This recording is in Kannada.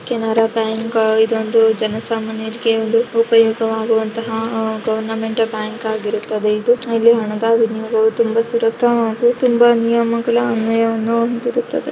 ಕೆನರಾ ಬ್ಯಾಂಕ್ ಇದೊಂದು ಜನ ಸಾಮನ್ಯರಿಗೆ ಒಂದು ಉಪಯೋಗವಾಗುವಂತಹ ಆಹ್ಹ್ ಗವರ್ನಮೆಂಟ್ ಬ್ಯಾಂಕ್ ಆಗಿರುತ್ತದೆ ಇದು ಇಲ್ಲಿ ಹಣದ ವಿನಿಯೋಗವು ತುಂಬಾ ಸುರಕ್ಷಿತ ಹಾಗು ತುಂಬಾ ನಿಯಮಗಳ ಅನ್ವಯವನ್ನು ಹೊಂದಿರುತ್ತದೆ.